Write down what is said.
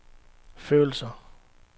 følelser